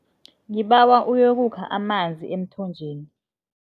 Ngibawa uyokukha amanzi emthonjeni.